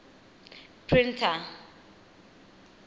printer